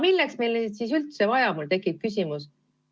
Milleks meile neid siis üldse vaja on, tekib mul küsimus.